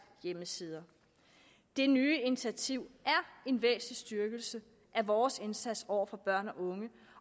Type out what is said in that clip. hjemmesider det nye initiativ er en væsentlig styrkelse af vores indsats over for børn og unge